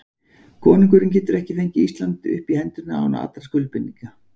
Konungurinn getur ekki fengið Ísland upp í hendurnar án allra skuldbindinga.